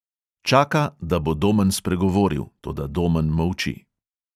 Čaka, da bo domen spregovoril, toda domen molči.